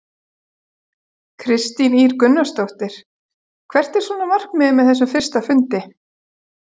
Kristín Ýr Gunnarsdóttir: Hvert er svona markmiðið með þessum fyrsta fundi?